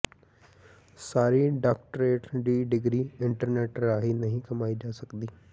ਸਾਰੀ doctorate ਦੀ degree internet ਰਾਹੀਂ ਨਹੀਂ ਕਮਾਈ ਜਾ ਸਕਦੀ